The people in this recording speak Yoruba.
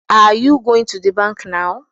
Are you goint to the bank now?